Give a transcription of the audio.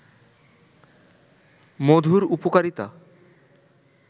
মধুর উপকারিতা